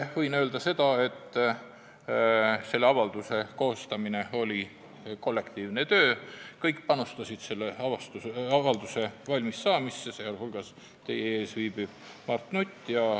Võin öelda, et selle avalduse koostamine oli kollektiivne töö, kõik panustasid selle avalduse valmissaamisse, teiste hulgas teie ees viibiv Mart Nutt.